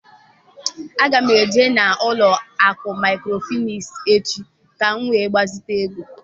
Agam ejee na ụlọ akụ maịkrofịnans echi ka m wee gbazite ego.